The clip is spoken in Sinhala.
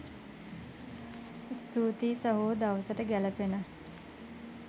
ස්තුතියි සහෝ දවසට ගෑළපෙන